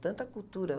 Tanta cultura.